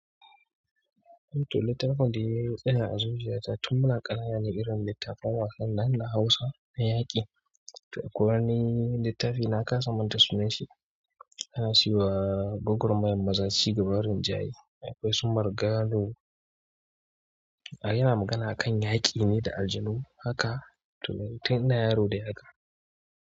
Littafan da nina a zuziyata tun muna ƙananane irin littattafan wasan nan na Hausa na yaƙi. Ko wani littafi na ƙasa manta sunan shi, ana siyowa goggon mayen maza si gaba rinjaye. Akwai su marga do, a yana magana akan yaƙine da aljanu haka totun ina yaro dai haka.